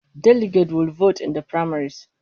Delegates will vote in the primaries